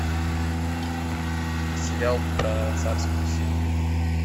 сериал про царскую семью